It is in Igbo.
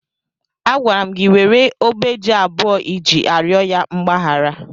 Agwara m gị were ogbe ji abụọ iji arịọ ya mgbaghara!